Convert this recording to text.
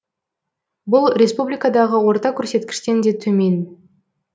бұл республикадағы орта көрсеткіштен де төмен